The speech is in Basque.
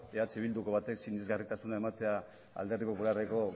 eh bilduko batek sinesgarritasuna ematea alderdi popularreko